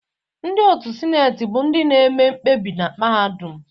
Ndị otu Sineti bụ ndị na-eme mkpebi na mahadum.